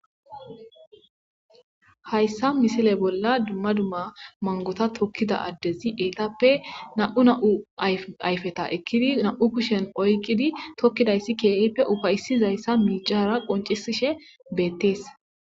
Ha issa misiliya bolla dumma dumma mangota tokkida addezi beettishe na'u na'u ayfeta ekkidi na'u kushen oykkidi tokkida issi keehi ufayssi zaysan miicara qonccisisshe beettees.